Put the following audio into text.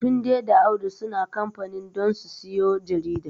Tunde da Audu suna kamfanin don su siyo jarida.